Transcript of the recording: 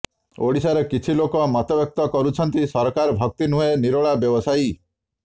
ଓଡ଼ିଶାର କିଛି ଲୋକ ମତବ୍ୟକ୍ତ କରୁଛନ୍ତି ସରକାର ଭକ୍ତି ନୁହେଁ ନିରୋଳା ବ୍ୟବସାୟୀ